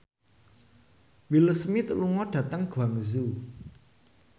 Will Smith lunga dhateng Guangzhou